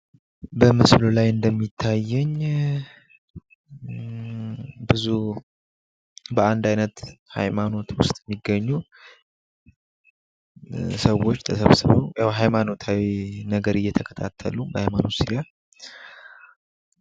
በምስሉ ላይ እንደሚታየኝ ብዙ በአንድ አይነት ሃይማኖት ዉስጥ የሚገኙ ሰዎች ተሰብስበዉ ያዉ ሃይማኖታዊ ነገር እየተከታተሉ በሃይማኖቱ ዙሪያ።